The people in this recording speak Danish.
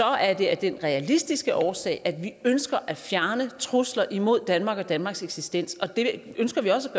er det af den realistiske årsag at vi ønsker at fjerne trusler imod danmark og danmarks eksistens og det ønsker vi også